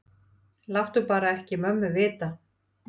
Láttu bara ekki mömmu vita.